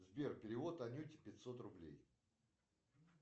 сбер перевод анюте пятьсот рублей